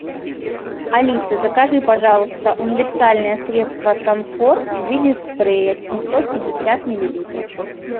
алиса закажи пожалуйста универсальное средство санфор в виде спрея семьсот пятьдесят миллилитров